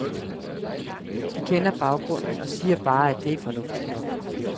De kender baggrunden, og siger bare, at det er fornuftigt nok.